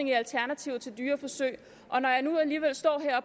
i alternativer til dyreforsøg